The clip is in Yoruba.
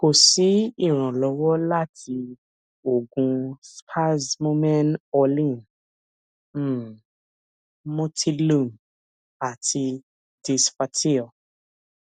ko si iranlọwọ lati oogun spasmomen orlin um motilum ati disflatyl